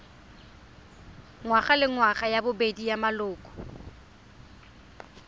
ngwagalengwaga ya bobedi ya maloko